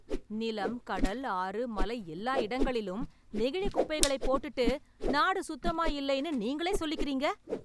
நிலம், கடல், ஆறு, மலை, எல்லா இடங்களிலும் நெகிழி குப்பைகளை போட்டுட்டு, நாடு சுத்தமாயில்லைன்னு நீங்களே சொல்லிக்கறீங்க...